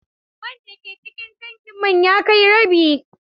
Man da ke cikin tankin man ya kai rabi.